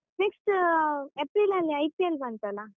Next ಏಪ್ರಿಲಲ್ಲಿ IPL ಬಂತಲ್ಲ?